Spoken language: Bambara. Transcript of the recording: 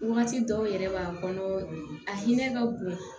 Wagati dɔw yɛrɛ b'a kɔnɔ a hinɛ ka bon